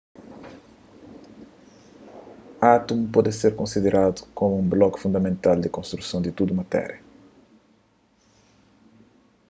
átumu pode ser konsideradu komu un bloku fundamental di konstruson di tudu matéria